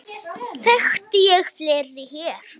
Þekkti ég fleiri hér?